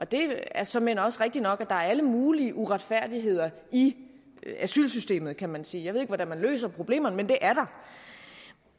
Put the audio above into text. det er såmænd også rigtig nok at der er alle mulige uretfærdigheder i asylsystemet kan man sige jeg ved ikke hvordan man løser problemerne men de er der